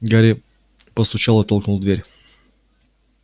гарри постучал и толкнул дверь